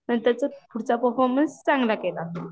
नंतरचा पुढचा परफॉर्मन्स चांगला केला